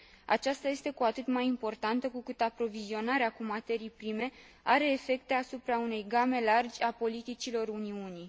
Aceasta este cu atât mai importantă, cu cât aprovizionarea cu materii prime are efecte asupra unei game largi a politicilor Uniunii.